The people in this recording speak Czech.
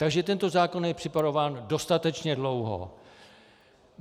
Takže tento zákon je připravován dostatečně dlouho.